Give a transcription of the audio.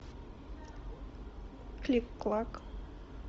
кликклак